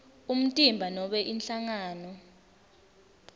umtimba nobe inhlangano